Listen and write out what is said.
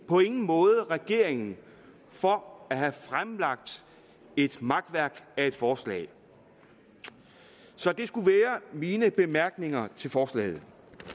måde regeringen for at have fremsat et makværk af et forslag så det skulle være mine bemærkninger til forslaget